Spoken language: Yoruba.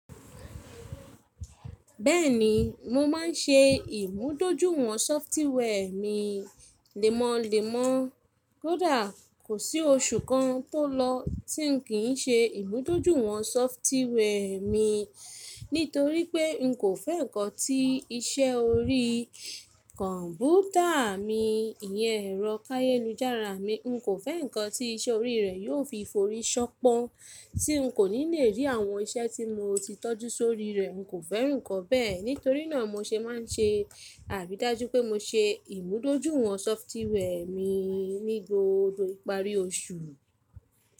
Bẹ́ẹ̀ni, mo máa ń ṣe ìmúdójúìwọ̀n sọfitíwẹ́ mi lemọlemọ. Kódà kò sí oṣù kan tó lọ tí n kì í ṣe ìmúdójúìwọ̀n sọfitíwẹ́ mi nítorí pé n kò fẹ́ ǹkan tí iṣẹ́ orí kọ̀ǹpútà mi, ìyẹn ẹ̀rọ káyelu-jáara mi, n kò fẹ́ ǹkan tí iṣẹ́ orí rẹ̀ yóò fi forí ṣọnpọ́n, tí n kò ní le rí àwọn iṣẹ́ tí mo ti tọ́jú sórí rẹ̀. N kò fẹ́ràn ǹkan bẹ́ẹ̀, nítorínà mo ṣe máa ń ṣe àridájú pé mo ṣe ìmúdójúìwọ̀n sọfitíwẹ́ mi ní gbogbo ìparí oṣù.